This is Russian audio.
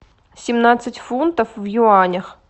семнадцать фунтов в юанях